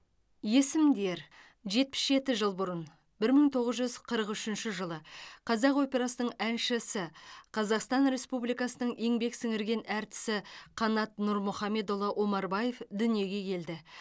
есімдер жетпіс жеті жыл бұрын бір мың тоғыз жүз қырық үшінші жылы қазақ операсының әншісі қазақстан республикасының еңбек сіңірген әртісі қанат нұрмұхаммедұлы омарбаев дүниеге келді